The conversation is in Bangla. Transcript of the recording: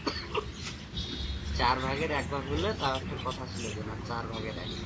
চার ভাগের এক ভাগ হলে তাও তো কথা ছিল যে না চার ভাগের এক ভাগ।